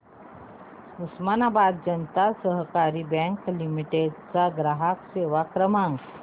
उस्मानाबाद जनता सहकारी bank limited चा ग्राहक सेवा क्रमांक